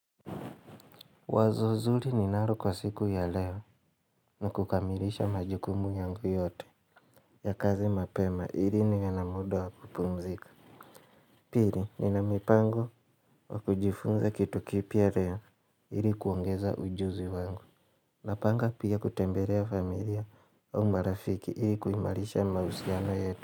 Wazo zuri ninaro kwa siku ya leo ni kukamilisha majukumu yangu yote ya kazi mapema ili niwe na muda wa kupumzika. Piri nina mipango wa kujifunza kitu kipya leo ili kuongeza ujuzi wangu. Napanga pia kutembelea familia au marafiki ili kuimarisha mausiano yetu.